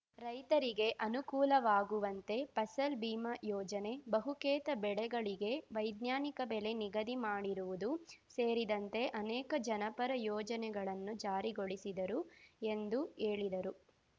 ರೈತರಿಗೆ ಅನುಕೂಲವಾಗುವಂತೆ ಫಸಲ್‌ ಬಿಮಾ ಯೋಜನೆ ಬಹುಕೇತ ಬೆಳೆಗಳಿಗೆ ವೈಜ್ಞಾನಿಕ ಬೆಲೆ ನಿಗದಿ ಮಾಡಿರುವುದು ಸೇರಿದಂತೆ ಅನೇಕ ಜನಪರ ಯೋಜನೆಗಳನ್ನು ಜಾರಿಗೊಳಿಸಿದರು ಎಂದು ಹೇಳಿದರು